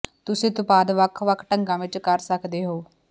ਤੁਸੀਂ ਉਤਪਾਦ ਵੱਖ ਵੱਖ ਢੰਗਾਂ ਵਿੱਚ ਕਰ ਸਕਦੇ ਹੋ